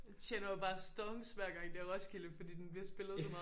Tjener jo bare stonks hver gang det er Roskidle fordi den bliver spillet på meget